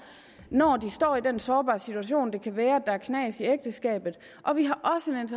når de står i den sårbare situation det kan være at der er knas i ægteskabet og vi